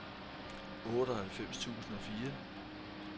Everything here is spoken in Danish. otteoghalvfems tusind og fire